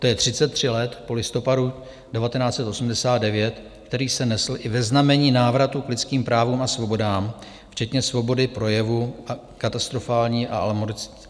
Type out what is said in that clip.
To je 33 let po listopadu 1989, který se nesl i ve znamení návratu k lidským právům a svobodám včetně svobody projevu, katastrofální a alarmující výsledek.